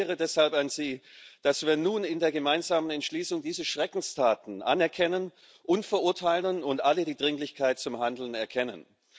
Ich appelliere deshalb an Sie, dass wir nun in der gemeinsamen Entschließung diese Schreckenstaten anerkennen und verurteilen und alle die Dringlichkeit zum Handeln erkennen.